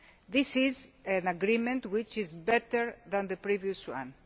This is an agreement which is better than the previous one.